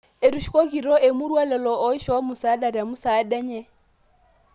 Etushukokitio emurua lelo oishoo musaada te musaada enye